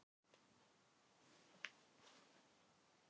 Annars man ég ekkert hvað hann heitir.